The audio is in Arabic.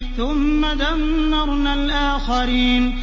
ثُمَّ دَمَّرْنَا الْآخَرِينَ